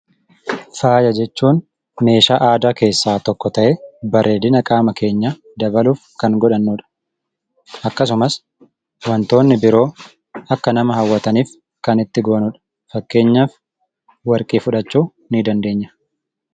Faaya jechuun meeshaa aadaa keessaa tokko ta'ee bareedina qaama keenyaa dabaluuf kan godhannudha. Akkasumas wantoonni biroo akka nama hawwataniif kan itti goonudha . Fakkeenyaaf warqii fudhachuu nii dandeenya.